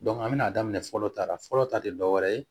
an bɛ n'a daminɛ fɔlɔ tara fɔlɔ ta tɛ dɔwɛrɛ ye